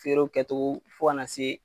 Feerenw kɛ cogo, fo ka na se